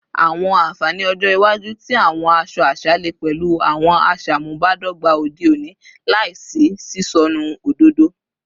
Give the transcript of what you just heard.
Awọn anfani ọjọ iwaju ti awọn aṣọ aṣa le pẹlu awọn aṣamubadọgba ode oni laisi sisọnu ododo